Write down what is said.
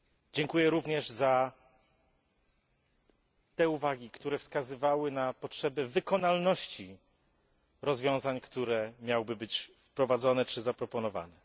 Dziękuję również za te uwagi, które wskazywały na potrzeby wykonalności rozwiązań, które miałyby być wprowadzone czy zaproponowane.